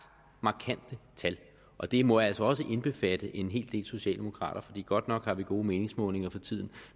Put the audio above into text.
markante tal og det må altså også indbefatte en hel del socialdemokrater for godt nok har vi gode meningsmålinger for tiden